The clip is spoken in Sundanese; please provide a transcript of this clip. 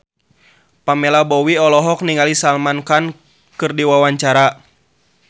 Pamela Bowie olohok ningali Salman Khan keur diwawancara